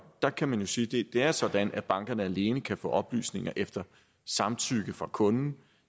der kan man jo sige at det er sådan at bankerne alene kan få oplysninger efter samtykke fra kunden